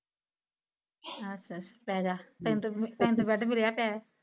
ਹਾਂ ਫਿਰ ਪੈ ਜਾ ਤੈਨੂੰ ਤੇ ਬੈਡ ਮਿਲਿਆ ਤੈ